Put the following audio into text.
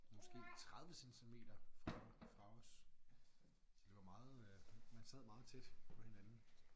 Måske 30 centimeter fra fra os. De var meget øh man sad meget tæt på hinanden